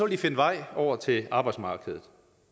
de finde vej over til arbejdsmarkedet